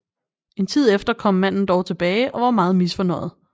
En tid efter kom manden dog tilbage og var meget misfornøjet